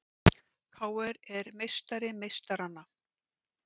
KR er meistari meistaranna